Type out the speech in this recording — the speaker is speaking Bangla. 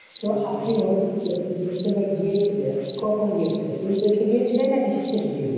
তো আপনি ও একটা ইজতেমায় গিয়েছিলেন। আপনি কখন গিয়েছিলেন? শুরু থেকে গিয়েছিলেন নাকি শেষের দিকে?